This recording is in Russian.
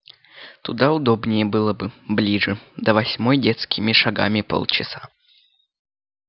туда удобнее было бы ближе до восьмой детскими шагами полчаса